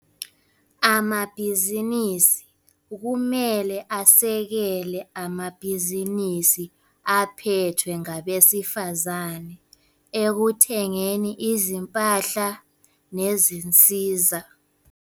Amabhizinisi kumele asekele amabhizinisi aphethwe ngabesifazane ekuthengeni izimpahla nezinsiza.